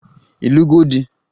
Ị lụgo di?